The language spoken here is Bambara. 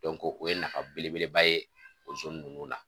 o ye nafa belebeleba ye o ninnu na.